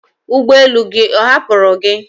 ụgbọ elu gị ọ hapụrụ gi?